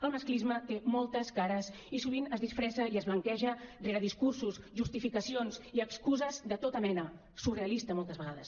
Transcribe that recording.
el masclisme té moltes cares i sovint es disfressa i es blanqueja rere discursos justificacions i excuses de tota mena surrealistes moltes vegades